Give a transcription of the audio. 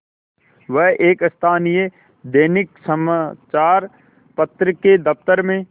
वह एक स्थानीय दैनिक समचार पत्र के दफ्तर में